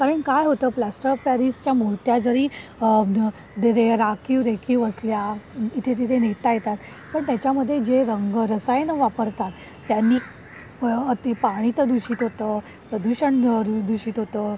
कारण काय होतं प्लास्टर ऑफ पॅरिसच्या मूर्त्या जरी आह आखीव रेखीव असल्या इथे तिथे नेता येतात पण त्याच्या मध्ये जे रंग रसायने वापरतात त्यांनी अती पाणी तर दूषित होतो प्रदूषण दूषित होतो